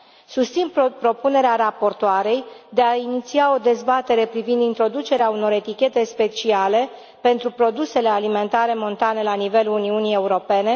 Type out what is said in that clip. Susțin propunerea raportoarei de a iniția o dezbatere privind introducerea unor etichete speciale pentru produsele alimentare montane la nivelul Uniunii Europene.